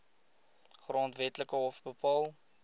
grondwetlike hof bepaal